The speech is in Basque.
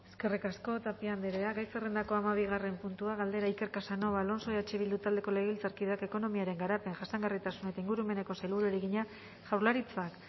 eskerrik asko tapia andrea gai zerrendako hamabigarren puntua galdera iker casanova alonso eh bildu taldeko legebiltzarkideak ekonomiaren garapen jasangarritasun eta ingurumeneko sailburuari egina jaurlaritzak